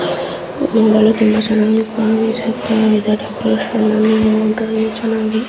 ಹೂಗಳು ತುಂಬಾ ಚೆನ್ನಾಗಿ ಕಂಗೊಳಿಸುತ್ತ ಇದೆ --